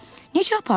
Necə aparırlar?